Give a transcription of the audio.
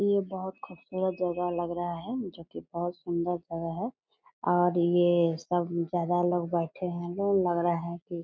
ये बहुत खूबसूरत जगह लग रहा है जो की बहुत सुंदर जगह है और ये सब ज्यादा लोग बैठे है लो लग रहा है कि --